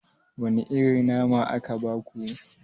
Wane irin nama aka baku?